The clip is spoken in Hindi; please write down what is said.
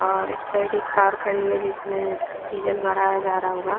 और इस साइड एक कार खड़ी हुई है जिसमें डीजल भराया जा रहा होगा।